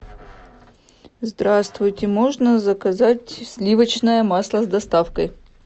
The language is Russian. здравствуйте можно заказать сливочное масло с доставкой